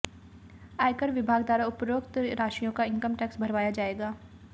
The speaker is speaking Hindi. आयकर विभाग द्वारा अब उपरोक्त राशियों का इनकम टैक्स भरवाया जाएगा